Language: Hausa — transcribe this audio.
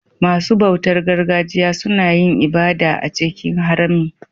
Masu bautar gargajiya suna yin ibada a cikin harami.